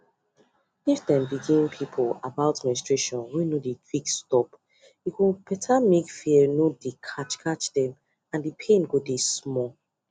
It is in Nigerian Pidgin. if dem begin people about menstruation wey no dey quick stop e go better make fear no dey catch dem and the pain go dey small